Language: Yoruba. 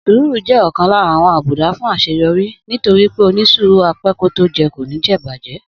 Sùúrù jẹ́ ọ̀kan lára àwọn àbùdá fún àṣeyọrí nítorí pé onísùúrù á pẹ́ kó tó jẹ kò ní jẹ ìbàjẹ́